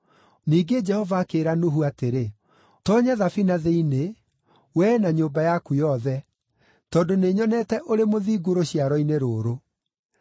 Ningĩ Jehova akĩĩra Nuhu atĩrĩ, “Toonya thabina thĩinĩ, wee na nyũmba yaku yothe, tondũ nĩnyonete ũrĩ mũthingu rũciaro-inĩ rũrũ.